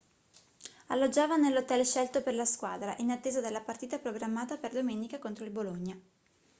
alloggiava nell'hotel scelto per la squadra in attesa della partita programmata per domenica contro il bologna